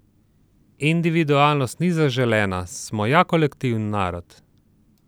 Individualnost ni zaželena, smo ja kolektiven narod!